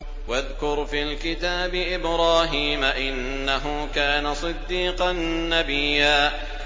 وَاذْكُرْ فِي الْكِتَابِ إِبْرَاهِيمَ ۚ إِنَّهُ كَانَ صِدِّيقًا نَّبِيًّا